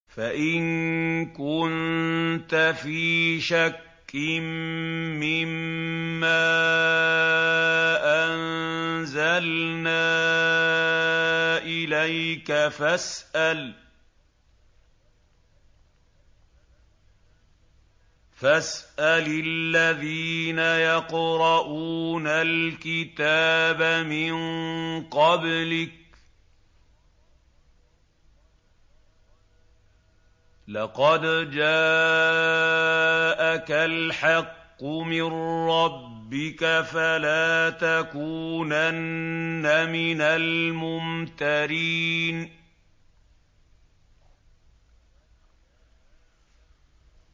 فَإِن كُنتَ فِي شَكٍّ مِّمَّا أَنزَلْنَا إِلَيْكَ فَاسْأَلِ الَّذِينَ يَقْرَءُونَ الْكِتَابَ مِن قَبْلِكَ ۚ لَقَدْ جَاءَكَ الْحَقُّ مِن رَّبِّكَ فَلَا تَكُونَنَّ مِنَ الْمُمْتَرِينَ